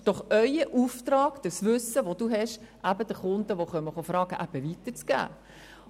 Es ist doch Ihr Auftrag, das Wissen, das Sie haben, an Kunden, die mit Fragen zu Ihnen kommen, weiterzugeben.